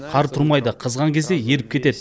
қар тұрмайды қызған кезде еріп кетеді